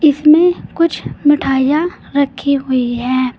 इसमें कुछ मिठाइयां रखी हुई है।